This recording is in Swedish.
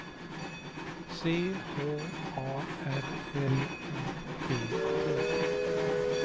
C H A R L O T T